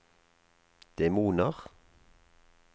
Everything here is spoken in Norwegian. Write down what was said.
demoner